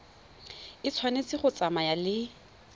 e tshwanetse go tsamaya le